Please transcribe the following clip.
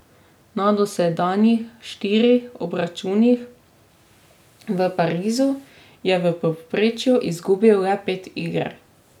Na dosedanjih štirih obračunih v Parizu je v povprečju izgubil le pet iger.